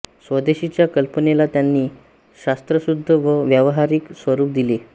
स्वदेशीच्या कल्पनेला त्यांनी शास्त्रशुद्ध व व्यावहारिक स्वरूप दिले